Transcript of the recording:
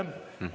Aitäh!